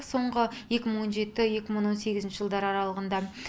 соңғы екі мың он жеті екі мың он сегіз жылдар аралығында